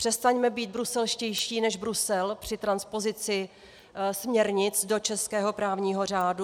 Přestaňme být bruselštější než Brusel při transpozici směrnic do českého právního řádu.